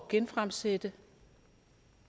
genfremsætte